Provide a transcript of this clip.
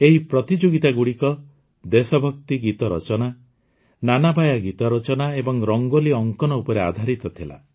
ଏହି ପ୍ରତିଯୋଗିତାଗୁଡ଼ିକ ଦେଶଭକ୍ତି ଗୀତ ରଚନା ନାନାବାୟା ଗୀତ ରଚନା ଏବଂ ରଙ୍ଗୋଲି ଅଙ୍କନ ଉପରେ ଆଧାରିତ ଥିଲା